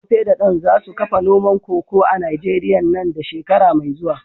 Tope da Dan za su kafa noman koko a Najeriya nan da shekara mai zuwa.